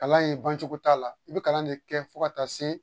Kalan ye bancogo t'a la i bɛ kalan de kɛ fo ka taa se